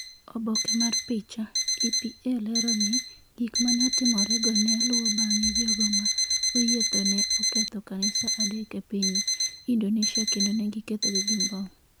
Oboke mar picha, EPA Lero ni, Gik ma ne otimorego ne luwo bang’e Jogo ma oyie tho ne oketho kanisa adek e piny Indonesia kendo ne gikethogi gi mbom